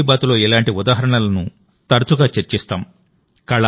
మన్ కీ బాత్లో ఇలాంటి ఉదాహరణలను తరచుగా చర్చిస్తాం